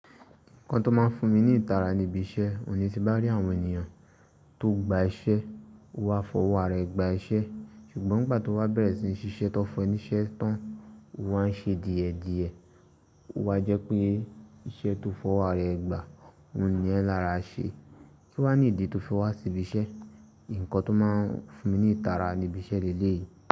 Nǹkan tó máa ń fún mi ní ìtara ní ibi iṣẹ́, òun ní ti bá rí àwọn ènìyàn tó gba iṣẹ́, wọ́n á fọwọ́ ara ẹ gbà iṣẹ́, ṣùgbọ́n ìgbà tí wọ́n bá bẹ̀rẹ̀ sí ní ṣíṣe tó fún e niṣẹ́ tán, o wán ṣe díẹ̀díẹ̀, ọ́ wá jẹ́ pé iṣẹ́ tó fọwọ́ ara ẹ gba, ò n ni ẹ́ lára ṣe, kíwá ní ìdí tó fi wá sí ibi iṣẹ́. Ǹkan tó máa ń fún mi ní ìtara ní ibi iṣẹ́ lè lé èyí.